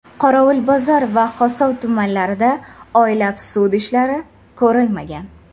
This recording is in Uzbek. Qorovulbozor va Xovos tumanlarida oylab sud ishlari ko‘rilmagan.